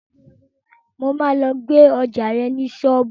Mo máa lọ gbé ọjá rẹ̀ ní ṣọ́ọ̀bù.